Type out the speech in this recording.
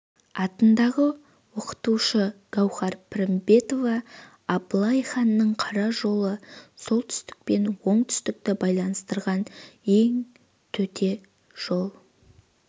атындағы оқытушысы гаухар пірімбетова абылай ханның қара жолы солтүстік пен оңтүстікті байланыстырған ең төте жол